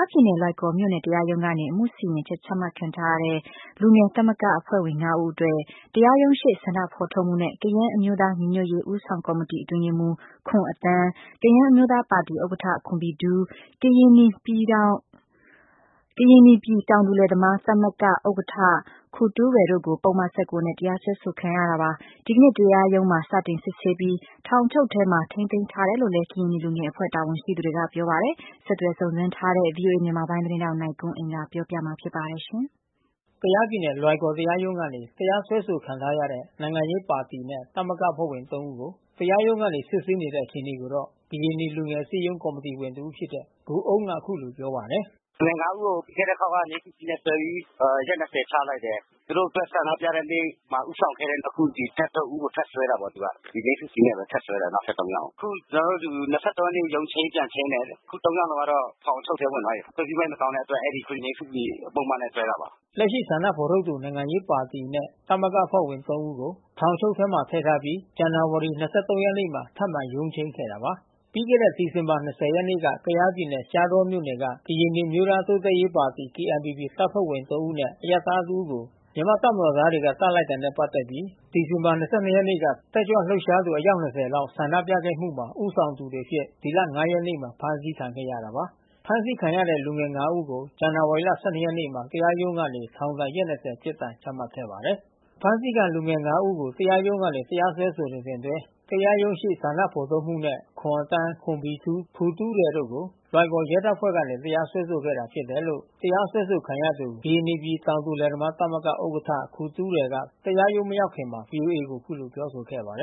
ားပြည်နယ်လွိုင်ကော်မြို့နယ်တရားရုံးကနေ အမှုစီရင်ချက်ချမှတ်ခံရတဲ့ လူငယ်သမဂ္ဂအဖွဲ့ဝင်၅ ဦး အတွက် တရားရုံးရှေ့ ဆန္ဒ ဖေါ်ထုတ်မှုနဲ့ ကယန်းအမျိုးသားညီညွတ်ရေးဦးဆောင်ကော်မတီအတွင်းရေးမှူ း ခွန်အသန်းကယန်းအမျိုးသားပါတီဥက္ကဌ ခွန်ဘီဒူး ကရင်နီပြည်တောင်သူလယ်သမားသမဂ္ဂ ဥက္ကဌ ခူတူးရယ်တို့ကို ပုဒ်မ၁၉ နဲ့တရားစွဲဆိုခံရတာပါ။ ဒီကနေ့ တရားရုံးမှာစတင်စစ်ဆေးပြီး ထောင်အချုပ်ထဲမှာထိန်းသိမ်းထားတယ်လို့လဲ ကရင်နီလူငယ်အဖွဲ့တာဝန်ရှိသူတွေကပြောပါတယ်။ ဆက်သွယ်စုံစမ်းထားတဲ့ ဗွီအိုအေ မြန်မာပိုင်း သတင်းထောက် နိုင်ကွန်းအိန် ကပြောပြပေးမှာ ဖြစ်ပါတယ်။ ကယားပြည်နယ်၊ လွိုင်ကော်တရားရုံးကနေ တရားစွဲဆိုခံထားရတဲ့ နိုင်ငံရေးပါတီနဲ့သမဂ္ဂအဖွဲ့ဝင် ဦးကို တရားရုံးကနေ စစ်ဆေး နေတဲ့ အခြေအနေကိုတော့ ကရင်နီလူငယ်အစည်းရုံးကော်မီတီဝင်တဦးဖြစ်တဲ့ ကိုအုန်းက အခုလိုပြောပါတယ်။ "လူငယ် ဦးကို ပြီးခဲ့တဲ့အခေါက်ကငြိမ်းစုစီနဲ့စွဲပြီးပြီး။ ရက် ချလိုက်တယ်။ သူတို့အတွက်ဆန္ဒပြတဲ့နေ့မှာ ဦးဆောင်ခဲ့တဲ့ အခုဒီ နောက်ထပ် ဦးကိုထပ်စွဲတာပေါ့။ ဒီဲငြိမ်းစုစီနဲ့ဘဲ ထပ်စွဲတယ်နောက်ထပ် ယောက်ကို။ ခုကျွန်တော်တို့ ရက်နေ့ ရုံးချိန်းပြန် ချိန်းတယ်။ အခု ယောက်လုံးကတော့ ထောင်အချုပ်ထဲဝင်သွားပြီး။ ခွင့်ပြုမိန့်မတောင်းတဲ့အတွက် အဲဒီငြိမ်းစုစီပုဒ်မနဲ့စွဲတာပါ။" လက်ရှိဆန္ဒဖေါ်ထုတ်သူ နိုင်ငံရေးပါတီနဲ့သမဂ္ဂအဖွဲ့ဝင် ဦးကို ထောင်အချုပ်ထဲထည့်ထားပြီး ဇန်နာဝါရီ ရက်နေ့မှာ ထပ်မံ ရုံးချိန်းခဲ့တာပါ။ ပြီးခဲ့ဒီဇင်ဘာ ရက်နေ့က ကယားပြည်နယ် ရှားတောမြို့က ကရင်နီအမျိုးသား တိုးတက်ရေးပါတီ KNPP တပ်ဖွဲ့ဝင် ၃ ဦးနဲ့ အရပ်သား ၁ ဦးကို မြန်မာ့တပ်မတော်သားတွေက သတ်လိုက်တာ နဲ့ ပတ်သက်ပြီး ဒီဇင်ဘာလ ၂၂ ရက်နေ့က တက်ကြွ လှုပ်ရှားသူ အယောက် ၂၀ လောက် ဆန္ဒပြခဲ့မှုမှာ ဦးဆောင်သူ တွေအဖြစ် ဒီလ ရက်နေ့မှာဖမ်းဆီးခံခဲ့ရတာပါ။ ဖမ်းဆီးခံရတဲ့လူငယ် ဦးကိုဇန်နဝါရီ ရက်နေ့မှာ တရားရုံးကနေ ထောင်ဒဏ်ရက် ပြစ်ဒဏ်ချမှတ်ခဲ့ပါတယ်။ အဖမ်းဆီးခံလူငယ် ဦးကို တရားရုံးကနေတရားစွဲဆိုစဉ်အတွင်း တရားရုံးရှေ့ ဆန္ဒဖေါ်ထုတ်မှုနဲ့ခွန်အသန်း ခွန်ဘီထူး ခူတူးရယ် တို့ကို လွိုင်ကော်ရဲတပ်ဖွဲ့ကနေ တရားစွဲဆိုခဲ့တာဖြစ်တယ်လို့ တရားစွဲခံရသူ ကရင်နီပြည်တောင်သူလယ်သမားသမဂ္ဂ ဥက္ကဌ ခူတူးရယ်က တရားရုံးမရောက်ခင် VOAကိုအခုလိုပြောဆိုခဲ့တာပါ။ "လူ